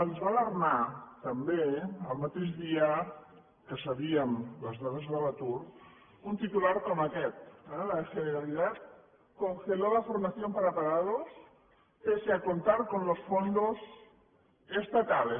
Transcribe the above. ens va alarmar també el mateix dia que sabíem les dades de l’atur un titular com aquest la generalidad congeló la formación para parados pese a contar con los fondos estatales